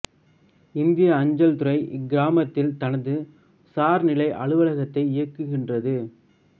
இந்திய அஞ்சல் துறை இக்கிராமத்தில் தனது சார்நிலை அலுவலகத்தை இயக்குகின்றது